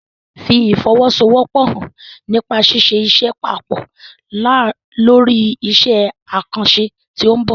Fi ìfọwọ́sowọ́pọ̀ hàn nípa ṣíṣe iṣẹ́ papọ̀ lórí iṣẹ́ àkànṣe tí ó ń bọ̀.